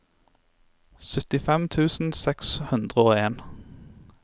syttifem tusen seks hundre og en